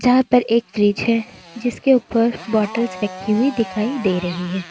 जहां पर एक फ्रिज है जिसके ऊपर बॉटल्स रखी हुई दिखाई दे रही है।